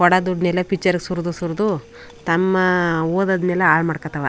ಕೊಡೊ ದುಡ್ಡನ್ನೆಲ್ಲ ಪಿಕ್ಚರ್ ಗೆ ಸುರ್ದು ಸುರ್ದು ತಮ್ಮ ಓದೋದನ್ನೆಲ್ಲ ಹಾಲು ಮಾಡ್ತವೆ.